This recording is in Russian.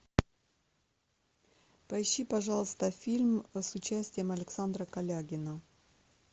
поищи пожалуйста фильм с участием александра колягина